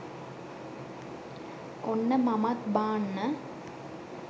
ඔන්න මමත් බාන්න